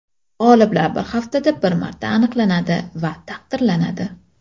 G‘oliblar bir haftada bir marta aniqlanadi va taqdirlanadi.